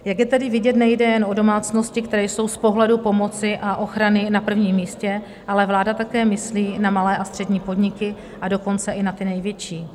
Jak je tedy vidět, nejde jen o domácnosti, které jsou z pohledu pomoci a ochrany na prvním místě, ale vláda také myslí na malé a střední podniky, a dokonce i na ty největší.